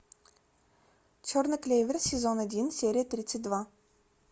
черный клевер сезон один серия тридцать два